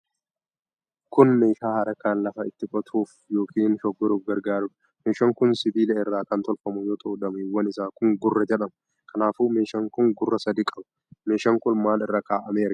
Kun meeshaa harkaan lafa itti qotuuf yookiin shoggoruuf gargaarudha. meeshaan kun sibiila irraa kan tolfamu yoo ta'u, dameewwan isaa kun gurra jedhama. Kanaafuu meeshaan kun gurra sadi qaba. Meeshaan kun maal irra kaa'amee argama?